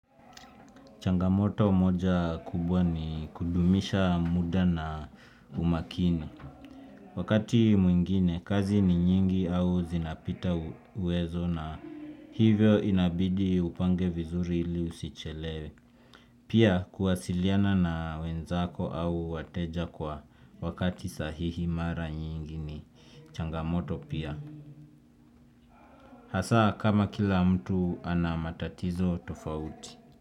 Changamoto moja kubwa ni kudumisha muda na umakini. Wakati mwingine, kazi ni nyingi au zinapita uwezo na hivyo inabidi upange vizuri ili usichelewe. Pia kuwasiliana na wenzako au wateja kwa wakati sahihi mara nyingi ni changamoto pia. Hasa kama kila mtu anamatatizo tofauti.